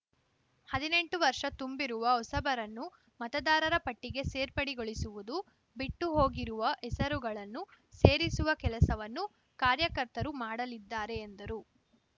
ಹದಿನೆಂಟು ವರ್ಷ ತುಂಬಿರುವ ಹೊಸಬರನ್ನು ಮತದಾರರ ಪಟ್ಟಿಗೆ ಸೇರ್ಪಡೆಗೊಳಿಸುವುದು ಬಿಟ್ಟುಹೋಗಿರುವ ಹೆಸರುಗಳನ್ನು ಸೇರಿಸುವ ಕೆಲಸವನ್ನು ಕಾರ್ಯಕರ್ತರು ಮಾಡಲಿದ್ದಾರೆ ಎಂದರು